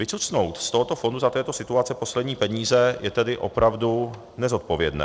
Vycucnout z tohoto fondu za této situace poslední peníze je tedy opravdu nezodpovědné.